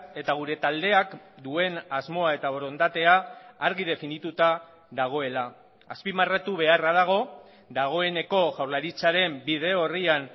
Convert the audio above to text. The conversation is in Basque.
eta gure taldeak duen asmoa eta borondatea argi definituta dagoela azpimarratu beharra dago dagoeneko jaurlaritzaren bide orrian